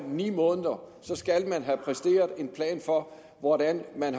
ni måneder og så skal man have en plan for hvordan man